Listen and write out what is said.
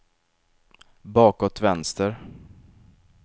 bakåt vänster